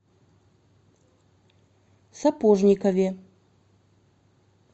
сапожникове